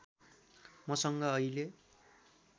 मसँग अहिले